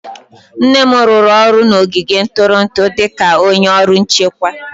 Nne m rụrụ ọrụ n'ogige ntụrụndụ dị ka onye ọrụ nchekwa.